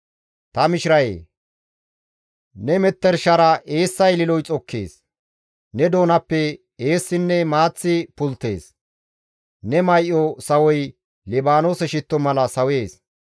Ta mishirayee! Ne metershara eessa ililoy xokkees. Ne doonappe eessinne maaththi pulttees; ne may7o sawoy Libaanoose shitto mala sawees.